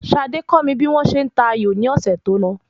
Sade kọ́ mi bí wọ́n ṣe n ta ayò ni ọ̀sẹ̀ tó lọ